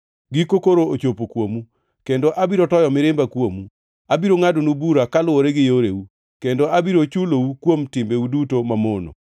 Giko koro ochopo kuomu, kendo abiro toyo mirimba kuomu. Abiro ngʼadonu bura kaluwore gi yoreu, kendo abiro chulou kuom timbeu duto mamono.